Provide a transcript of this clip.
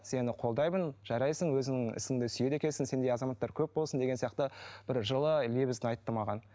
сені қолдаймын жарайсың өзіңнің ісіңді сүйеді екенсің сендей азаматтар көп болсын деген сияқты бір жылы лебізін айтты маған